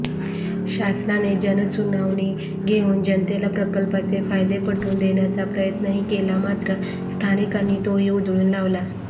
शासनाने जनसुनावणी घेऊन जनतेला प्रकल्पाचे फायदे पटवून देण्याचा प्रयत्नही केला मात्र स्थानिकांनी तोही उधळून लावला